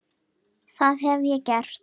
Það hef ég gert.